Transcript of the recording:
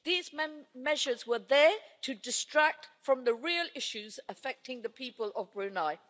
These measures were there to distract from the real issues affecting the people of Brunei.